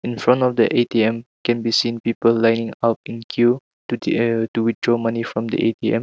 in front of the A_T_M can be seen people lineup in a queue to a to withdraw money from the A_T_M.